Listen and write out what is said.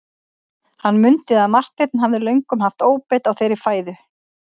Hann mundi að Marteinn hafði löngum haft óbeit á þeirri fæðu.